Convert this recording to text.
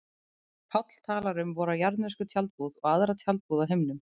Páll talar um vora jarðnesku tjaldbúð og aðra tjaldbúð á himnum.